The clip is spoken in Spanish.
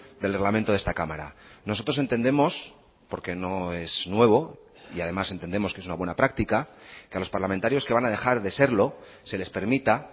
del reglamento de esta cámara nosotros entendemos porque no es nuevo y además entendemos que es una buena práctica que a los parlamentarios que van a dejar de serlo se les permita